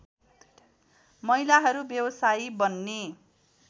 महिलाहरू व्यवसायी बन्ने